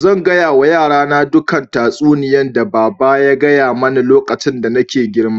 Zan gaya wa yara na dukan tatsuniyan da baba ya gaya mani lokacin da nake girma.